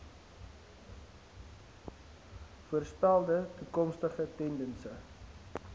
voorspelde toekomstige tendense